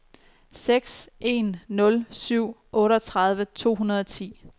seks en nul syv otteogtredive to hundrede og ti